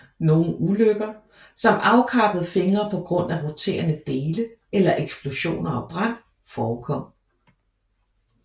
Nogen ulykker som afkappede fingre på grund af roterende dele eller eksplosioner og brand forekom